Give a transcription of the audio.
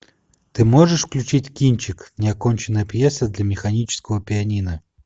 ты можешь включить кинчик неоконченная пьеса для механического пианино